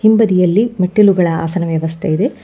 ಹಿಂಬದಿಯಲ್ಲಿ ಮೆಟ್ಟಿಲುಗಳ ಆಸನ ವ್ಯವಸ್ಥೆ ಇದೆ.